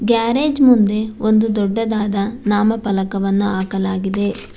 Garage ಮುಂದೆ ಒಂದು ದೊಡ್ಡದಾದ ನಾಮಫಲಕವನ್ನು ಹಾಕಲಾಗಿದೆ.